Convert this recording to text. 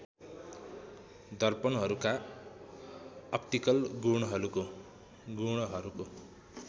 दर्पणहरूका optical गुणहरूको